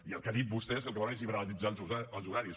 i el que ha dit vostè que el que volen és liberalitzar els horaris